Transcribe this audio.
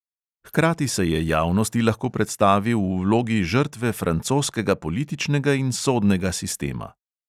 Hkrati se je javnosti lahko predstavil v vlogi žrtve francoskega političnega in sodnega sistema.